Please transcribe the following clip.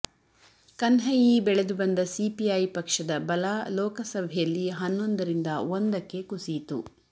ಕನ್ಹಯ್ಯಿ ಬೆಳೆದು ಬಂದ ಸಿಪಿಐ ಪಕ್ಷದ ಬಲ ಲೋಕಸಭೆಯಲ್ಲಿ ಹನ್ನೊಂದರಿಂದ ಒಂದಕ್ಕೆ ಕುಸಿಯಿತು